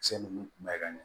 Cɛ nunnu kun bɛ ka ɲɛ